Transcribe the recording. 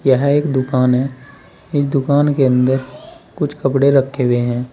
यह एक दुकान है इस दुकान के अंदर कुछ कपड़े रखे हुए हैं।